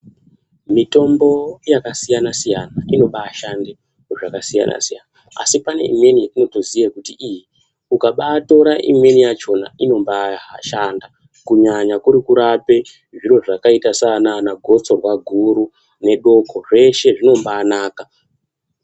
Mitombo yakasiyana siyana inoba shanda zvakasiyana siyana asi paneimweno yaunotoziya kuti iyi ukambayi tora imweni yakhona inombayi shanda kunyanya kuri kurape zviro zvakaita sana gotsorwa guru nedoko zvese zvinobanaka.